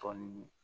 Tɔn ni